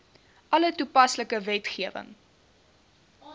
alle toepaslike wetgewing